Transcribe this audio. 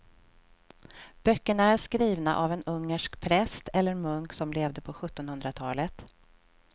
Böckerna är skrivna av en ungersk präst eller munk som levde på sjuttonhundratalet.